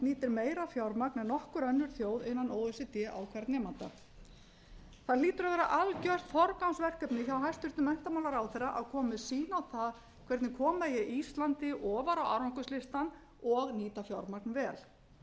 nýtir meira fjármagn en nokkur önnur þjóð innan o e c d á hvern nemanda það hlýtur að vera algert forgangsverkefni hjá hæstvirtum menntamálaráðherra að koma með sýn á það hvernig koma megi íslandi ofar á árangurslistann og nýta fjármagn vel